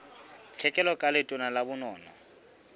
tlhekelo ka letona la bonono